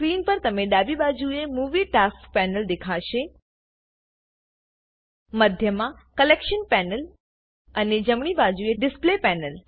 screen પર તમને ડાબી બાજુએ મુવી ટાસ્ક પેનલ દેખાશે મધ્યમાં કલેક્શન પેનલ અને જમણી બાજુએ ડિસ્પ્લે પેનલ